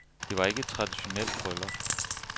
Det var ikke et traditionelt bryllup.